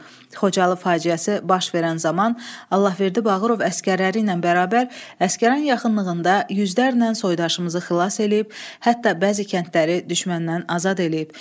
Xocalı faciəsi baş verən zaman Allahverdi Bağırov əsgərləri ilə bərabər Əsgəran yaxınlığında yüzlərlə soydaşımızı xilas eləyib, hətta bəzi kəndləri düşməndən azad eləyib.